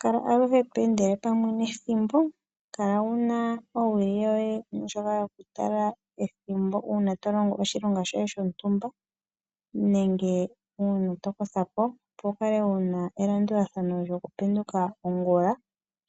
Kala aluhe to endele pamwe nethimbo. Kala wuna owili yoye ndjoka yokutala ethimbo uuna tolongo oshilonga shoye shontumba nenge uuna tokotha po. Opo wukale wuna elandulathano lyokupe nduka ongula.